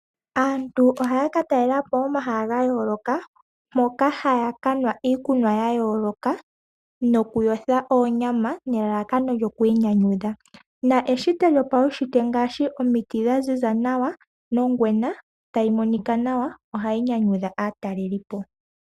Aantu ohaya ka talelapo omahala ga yooloka, moka haya kanwa iikunwa ya yooloka, nokuyotha oonyama, nelalakano lyokwii nyanyudha. Eshito lyopaushintwe, ngaashi omiti dhaziza nawa, nongwena tayi monika nawa, ohayi nyanyudha aatalelipo.